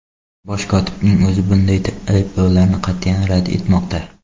Bosh kotibning o‘zi bunday ayblovlarni qat’iyan rad etmoqda.